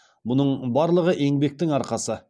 бұның барлығы еңбектің арқасы